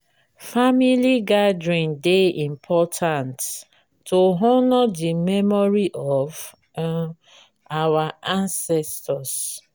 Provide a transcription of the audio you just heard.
family gathering dey important to honor the memory of um our ancestors.